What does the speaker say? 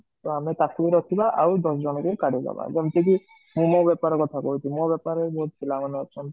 ତ ଆମେ ଟାକୁ ରଖିବା ଆଉ ଦଶ ଜଣଙ୍କୁ କାଢି ଦବା, ଯେମତି ମୁଁ ମୋ ବେପାର କଥା କହୁଛି ମୋ ବେପାର ରେ ବହୁତ ପିଲା ଅଛନ୍ତି